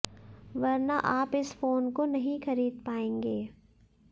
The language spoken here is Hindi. वरना आप इस फोन को नहीं खरीद पाएंगे